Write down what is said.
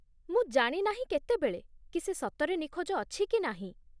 ମୁଁ ଜାଣି ନାହିଁ କେତେବେଳେ, କି ସେ ସତରେ ନିଖୋଜ ଅଛି କି ନାହିଁ ।